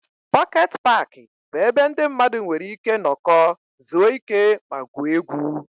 Pọket paaki bụ ebe ndị mmadụ nwere ike nọkọọ, zuo ike ma gwuo egwu.